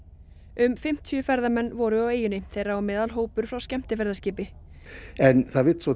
um fimmtíu ferðamenn voru á eyjunni þeirra á meðal hópur frá skemmtiferðaskipi en það vill svo